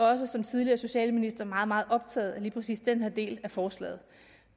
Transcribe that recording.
også som tidligere socialminister meget meget optaget af lige præcis den her del af forslaget